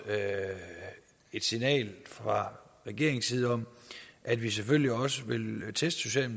et signal fra regeringens side om at vi selvfølgelig også vil teste